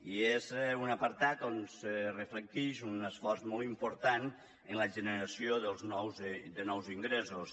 i és un apartat on se reflecteix un esforç molt important en la generació de nous ingressos